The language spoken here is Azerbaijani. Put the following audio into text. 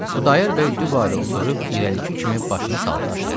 Xudayar bəy dübarə oturub irəlik kimi başını saldı aşağı.